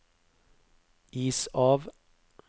is av